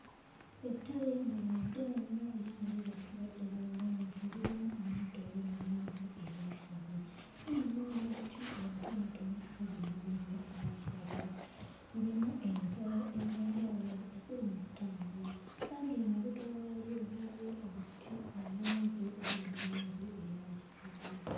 Ettale nga lino ddene nnyo era nga lirabikira ddala bulungi, lirimu omuddo oguli mu langi eya kiragala era nga mulimu n'obuti obutonotono obuli mu langi eya kiragala, mulimu ensolo ez'enjawulo eziri mu ttambula era ng'emabega waalyo waliyo obuti obungi obuli mu langi eya kiragala.